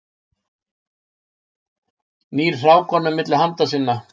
Nýr hrákanum milli handa sinna.